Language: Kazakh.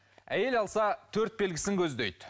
әйел алса төрт белгісін көздейді